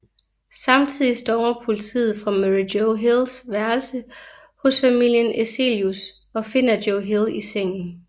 Samtidigt stormer politiet fra Murray Joe Hills værelse hos familien Eselius og finder Joe Hill i sengen